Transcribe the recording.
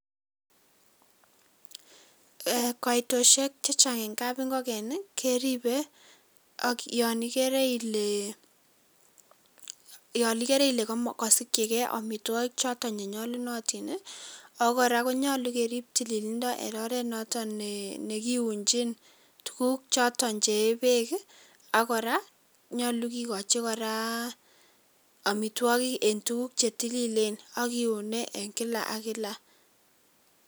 Kaitoshek chechang eng kapingoken keripei ako yon ikeere ile kasikchikei amitwokik choto che nyolunotin ako kora konyolu kerip tililindo eng oret noto ne kiuchin tuguuk choto che een beek ak kora nyolun kikochin kora amitwokik eng tuguuk che tililen ak kiunei eng kila ak kila.